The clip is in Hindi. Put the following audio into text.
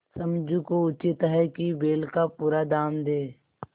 समझू को उचित है कि बैल का पूरा दाम दें